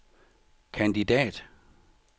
kandidat